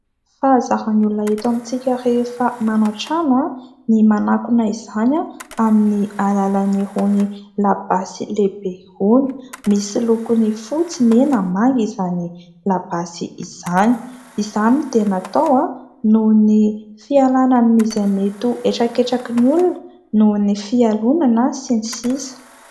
Fahazaran'ny olona eto amintsika rehefa manao trano ny manakona izany amin'ny alalan'irony labasy lehibe irony. Misy lokony fotsy, mena, manga izany labasy izany. Izany dia natao noho ny fialana amin'izy mety ho etraketraky ny olona noho ny fialonana sy ny sisa.